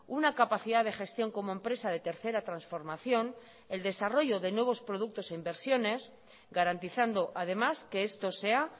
una capacidad de gestión como empresa de tercera transformación el desarrollo de nuevos productos e inversiones garantizando además que esto sea